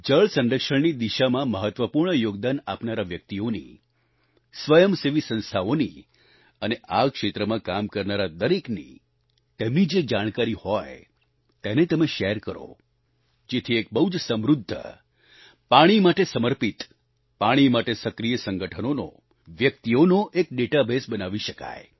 જળ સંરક્ષણની દિશામાં મહત્વપૂર્ણ યોગદાન આપનારા વ્યક્તિઓની સ્વયં સેવી સંસ્થાઓની અને આ ક્ષેત્રમાં કામ કરનારા દરેકની તેમની જે જાણકારી હોય તેને તમે શેર કરો જેથી એક બહુજ સમૃદ્ધ પાણી માટે સમર્પિત પાણી માટે સક્રિય સંગઠનોનો વ્યક્તિઓનો એક ડેટાબેઝ બનાવી શકાય